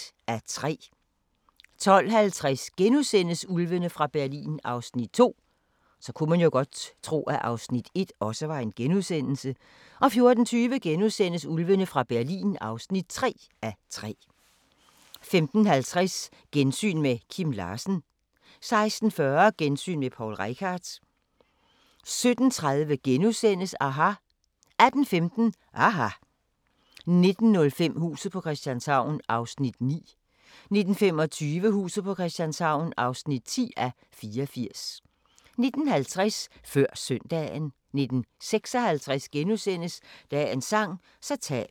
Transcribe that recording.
12:50: Ulvene fra Berlin (2:3)* 14:20: Ulvene fra Berlin (3:3)* 15:50: Gensyn med Kim Larsen 16:40: Gensyn med Poul Reichhardt 17:30: aHA! * 18:15: aHA! 19:05: Huset på Christianshavn (9:84) 19:25: Huset på Christianshavn (10:84) 19:50: Før Søndagen 19:56: Dagens sang: Så tag mit hjerte *